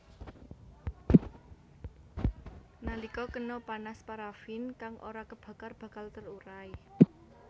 Nalika kena panas paraffin kang ora kebakar bakal terurai